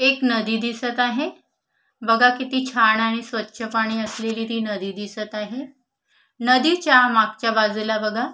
एक नदी दिसत आहे बघा किती छान आहे आणि स्वच्छ पाणी असलेली ती नदी दिसत आहे नदीच्या मागच्या बाजूला बघा.